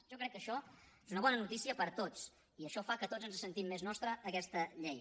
jo crec que això és una bona notícia per a tots i això fa que tots ens sentim més nostra aquesta llei